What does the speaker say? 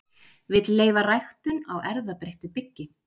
Vill leyfa ræktun á erfðabreyttu byggi